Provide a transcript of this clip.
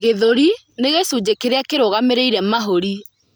Gĩthũri nĩ gĩcunjĩ kĩrĩa kĩrũgamĩrĩire mahũri.